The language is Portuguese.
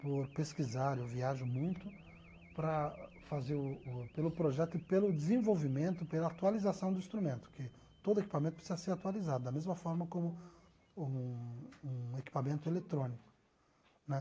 por pesquisar, eu viajo muito, para fazer o pelo projeto e pelo desenvolvimento, pela atualização do instrumento, porque todo equipamento precisa ser atualizado, da mesma forma como um um equipamento eletrônico né